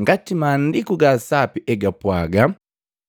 ngati Maandiku ga Sapi egapwaga.